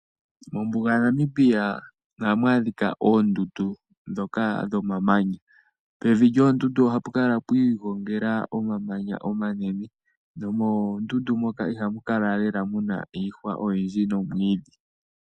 Mombuga yaNamibia oha mwadhika oondudu dhoka dho mamanya, pevi lyoondudu ohapu kala pwiigongela omamanya omanene, noomondudu moka ihamu kala lela muna iihwa oyindji nomwiidhi.